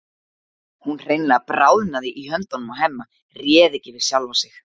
Hún hreinlega bráðnaði í höndunum á Hemma, réð ekki við sjálfa sig.